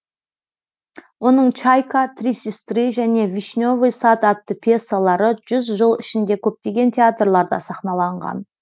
оның чайка три сестры және вишневый сад атты пьесалары жүз жыл ішінде көптеген театрларда сахналанған